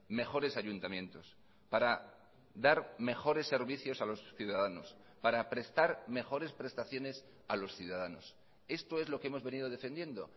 mejores ayuntamientos para dar mejores servicios a los ciudadanos para prestar mejores prestaciones a los ciudadanos esto es lo que hemos venido defendiendo